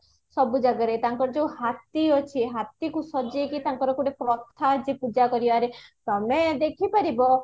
ସବୁ ଜାଗାରେ ତାଙ୍କର ଯୋଉ ହାତୀ ଅଛି ହାତୀକୁ ସଜେଇକି ତାଙ୍କର ଗୋଟେ ପ୍ରଥା ଅଛି ପୂଜା କରିବାରେ ତମେ ଦେଖିପାରିବା